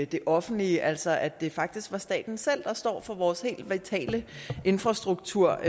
det offentlige altså at det faktisk var staten selv der står for vores helt vitale infrastruktur